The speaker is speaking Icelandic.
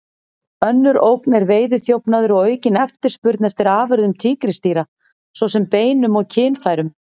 Önnur ógn er veiðiþjófnaður og aukin eftirspurn eftir afurðum tígrisdýra, svo sem beinum og kynfærum.